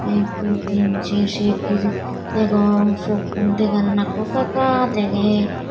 ek du tin ser ser ir degong sokkun degan nakko ekka ekka degey.